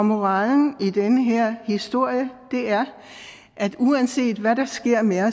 moralen i den her historie er at uanset hvad der sker med